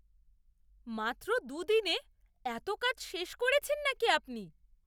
মাত্র দু'দিনে এত কাজ শেষ করেছেন নাকি আপনি!